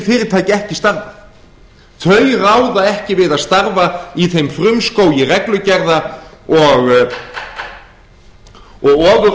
fyrirtæki ekki starfað þau ráða ekki við að starfa í þeim frumskógi reglugerða og